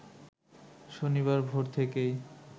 শনিবার ভোর থেকেই